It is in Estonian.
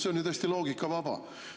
See on tõesti loogikavaba.